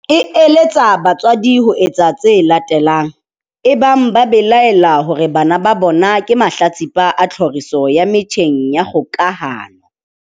E eletsa batswadi ho etsa tse latelang, ebang ba belaela hore bana ba bona ke mahlatsipa a tlhoriso ya metjheng ya kgokahano.